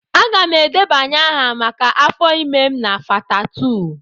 Aga m edebanye aha maka afọ ime m na Fatha2.